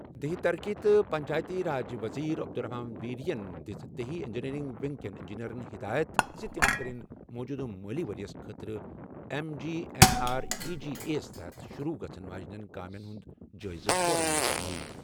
دیہی ترقی تہٕ پنچایتی راج کِس وزیرِ عبدالرحمان ویری یَن دِژ دیہی انجینئرنگ ونگ کٮ۪ن انجینئرَن ہدایت زِ سُہ کرِ موٗجوٗدٕ مٲلی ورۍ یَس خٲطرٕ M G N R E G A یَس تحت شروع گژھَن واجٮ۪ن کٲمَن ہُنٛد جٲیزٕ فوراً مُکمل۔